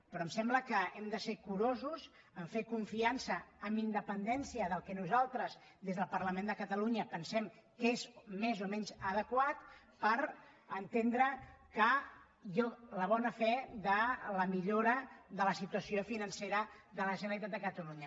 però em sembla que hem de ser curosos en fer confiança amb independència del que nosaltres des del parlament de catalunya pensem que és més o menys adequat per entendre la bona fe de la millora de la situació financera de la generalitat de catalunya